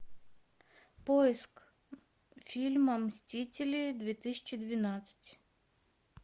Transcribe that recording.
поиск фильма мстители две тысячи двенадцать